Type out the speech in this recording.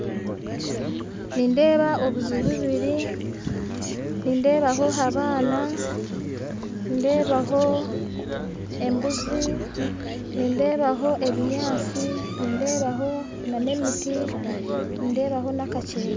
Nindeeba obuju bubiri, nindeebaho abaana, nindeebaho embuuzi, ebinyatsi hamwe n'emiti